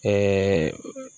Ɛɛ